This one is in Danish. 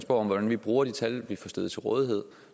om hvordan vi bruger de tal vi får stillet til rådighed